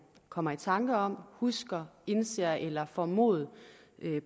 kommer i tanker om husker indser eller får mod